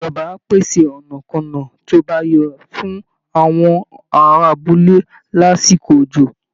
Ìjọba á pèsè ọ̀nàkọ́nà tó bá yọ fún àwọn ará abúlé lásìkò òjò